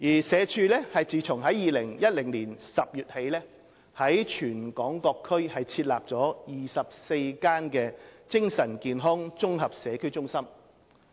社署自2010年10月起在全港各區設立24間精神健康綜合社區中心。